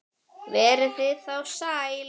Verið þið þá sæl!